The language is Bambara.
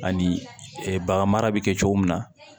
Ani bagan mara bɛ kɛ cogo min na